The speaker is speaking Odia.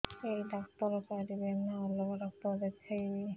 ଏଇ ଡ଼ାକ୍ତର ପାରିବେ ନା ଅଲଗା ଡ଼ାକ୍ତର ଦେଖେଇବି